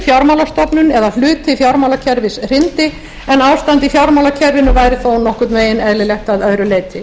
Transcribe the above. fjármálastofnun eða hluti fjármálakerfis hryndi en ástand í fjármálakerfinu væri þó nokkurn veginn eðlilegt að öðru leyti